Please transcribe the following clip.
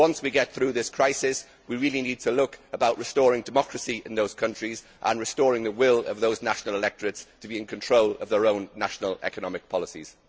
Once we get through this crisis, we really need to look at restoring democracy in these countries and restoring the will of their national electorates to be in control of their own national economic policies.